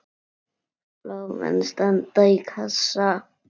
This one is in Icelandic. Blómin standa í klasa.